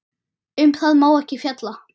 Um það má ekki fjalla.